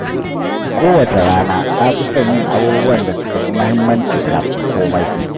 Kowace rana, na fi son yin abubuwan da suka fi muhimmanci kafin komai.